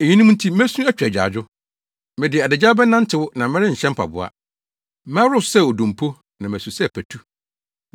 Eyinom nti mesu atwa agyaadwo; mede adagyaw bɛnantew na merenhyɛ mpaboa. Mɛworo so sɛ odompo na masu sɛ patu.